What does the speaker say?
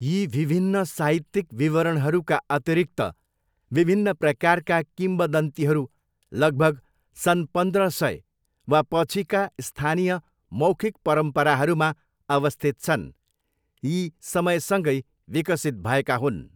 यी विभिन्न साहित्यिक विवरणहरूका अतिरिक्त, विभिन्न प्रकारका किम्वदन्तीहरू लगभग सन् पन्द्र सय वा पछिका स्थानीय मौखिक परम्पराहरूमा अवस्थित छन्, यी समयसँगै विकसित भएका हुन्।